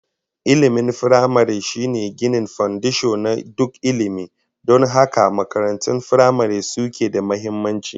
Ilmin firamare shine ginin fandisho na duk ilmi, don haka makarantun firamare suke da muhimmanci